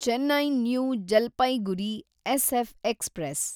Chennai new Jalpaiguri SF express